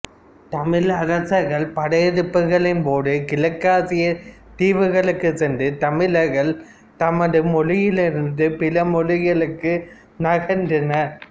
தமிழ் அரசர்கள் படையெடுப்புகளின் போது கிழக்காசியத் தீவுகளுக்குச் சென்ற தமிழர்கள் தமது மொழியிலிருந்த் பிற மொழிகளுக்கு நகர்ந்தனர்